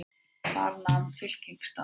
Þar nam fylkingin staðar.